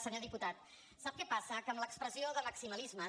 senyor diputat sap què passa que amb l’expressió de maximalismes